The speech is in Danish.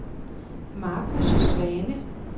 Marcus Svane